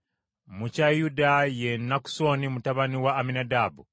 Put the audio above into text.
mu kya Yuda ye Nakusoni mutabani wa Amminadaabu;